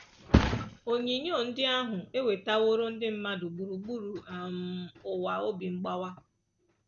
Onyinyo ndị ahụ ewetaworo ndị mmadụ gburugburu um ụwa obi mgbawa